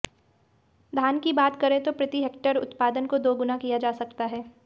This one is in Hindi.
धान की बात करें तो प्रति हेक्टेयर उत्पादन को दोगुना किया जा सकता है